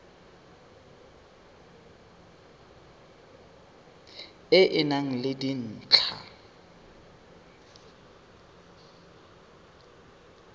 e e nang le dintlha